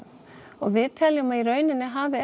og við teljum að í rauninni hafi